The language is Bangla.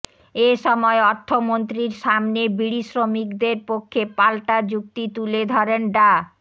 এ সময় অর্থমন্ত্রীর সামনে বিড়িশ্রমিকদের পক্ষে পাল্টা যুক্তি তুলে ধরেন ডা